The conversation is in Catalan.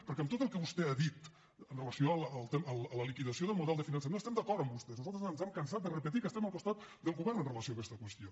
perquè en tot el que vostè ha dit amb relació a la liquidació del model de finançament estem d’acord amb vostès nosaltres ens hem cansat de repetir que estem al costat del govern amb relació a aquesta qüestió